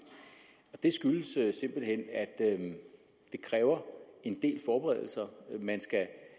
det skyldes simpelt hen at det kræver en del forberedelser man skal